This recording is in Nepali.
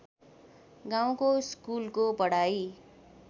गाउँको स्कुलको पढाइ